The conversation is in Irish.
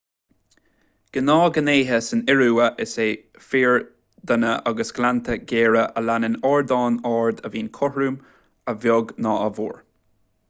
gnáthghnéithe san iorua is ea fiordanna agus gleannta géara as a leanann ardán ard a bhíonn cothrom a bheag nó a mhór